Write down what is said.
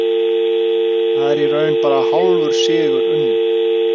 Þá er í raun bara hálfur sigur unninn.